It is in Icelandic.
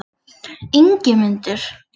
Ingimundur